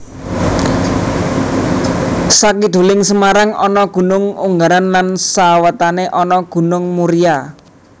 Sakiduling Semarang ana Gunung Ungaran lan sawétané ana Gunung Muria